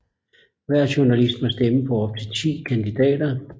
Hver journalist må stemme på op til 10 kandidater